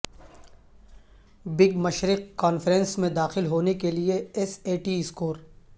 big مشرق conference میں داخل ہونے کے لئے ایس اے ٹی اسکور